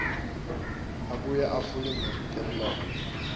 abuye etfule temlomo